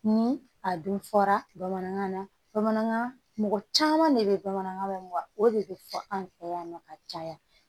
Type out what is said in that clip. Ni a dun fɔra bamanankan na bamanankan mɔgɔ caman de bɛ bamanankan mɛn wa o de bɛ fɔ an fɛ yan nɔ ka caya